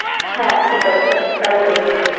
হ্যাঁ ঠিক আছে. তাই করবো।